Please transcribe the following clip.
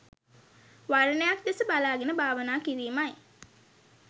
වර්ණයක් දෙස බලාගෙන භාවනා කිරීමයි.